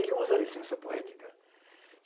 Ele usa a licença poética.